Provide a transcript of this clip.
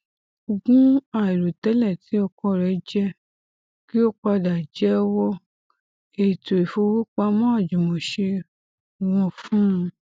ogún àìròtẹlẹ ti ọkọ rẹ jẹ kí ó padà jẹwọ ètò ifowópamọ àjùmọṣe wọn fún un